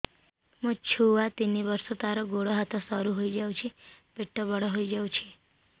ମୋ ଛୁଆ ତିନି ବର୍ଷ ତାର ଗୋଡ ହାତ ସରୁ ହୋଇଯାଉଛି ପେଟ ବଡ ହୋଇ ଯାଉଛି